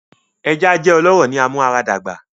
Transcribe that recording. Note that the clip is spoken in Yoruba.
Eja jẹ ọlọrọ ni amuaradagba